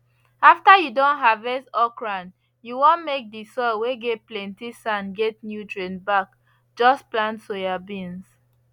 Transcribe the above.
after you don harvest okra you want make the soil whey get plenty sand get nutrients back just plant soyabeans